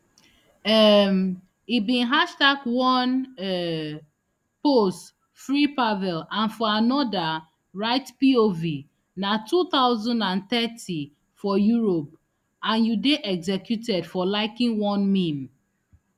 um e bin hashtag one um post freepavel and for anoda write pov na two thousand and thirty for europe and you dey executed for liking one meme